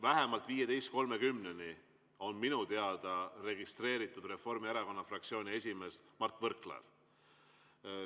Vähemalt 15.30-ni on minu teada registreeritud Reformierakonna fraktsiooni esimees Mart Võrklaev.